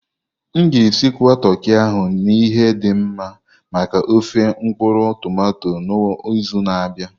M ga-esigwa toki ahụ na ihe dị mma maka ofé mkpuru-tomato n'izu na-abịa.